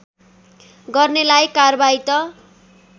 गर्नेलाई कार्वाही त